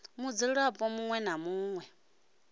mudzulapo muṋwe na muṋwe u